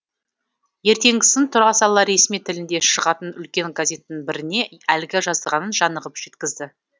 ертеңгісін тұра сала ресми тілінде шығатын үлкен газеттің біріне әлгі жазғанын жанығып жеткізді